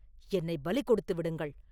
என்னைப் பலி கொடுத்து விடுங்கள்.